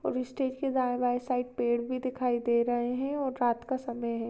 और स्टेज के दाँयें बाँयें साइड पेड़ भी दिखाई दे रहे है और रात का समय है।